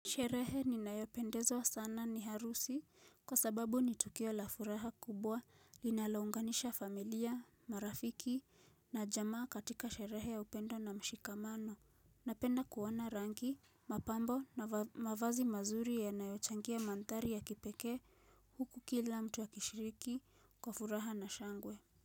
Sherehe ninayopendezwa sana ni harusi kwa sababu ni tukio la furaha kubwa linalounganisha familia, marafiki na jamaa katika sherehe ya upendo na mshikamano. Napenda kuoana rangi, mapambo na mavazi mazuri yanayochangia mandhari ya kipekee huku kila mtu ya akishiriki kwa furaha na shangwe.